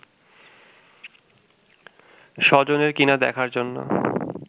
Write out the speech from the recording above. স্বজনের কিনা দেখার জন্য